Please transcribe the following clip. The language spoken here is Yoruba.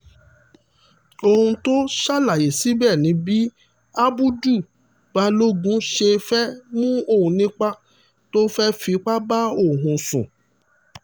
ohun tó ṣàlàyé síbẹ̀ ni bí ábùdù-bálògun ṣe fẹ́ẹ́ mú òun nípa tó fẹ́ẹ́ fipá bá òun sùn